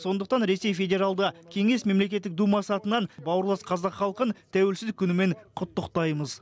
сондықтан ресей федералды кеңес мемлекеттік думасы атынан бауырлас қазақ халқын тәуелсіздік күнімен құттықтаймыз